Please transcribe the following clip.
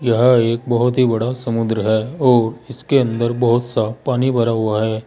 यह एक बहुत ही बड़ा समुद्र है और इसके अंदर बहुत सा पानी भरा हुआ है।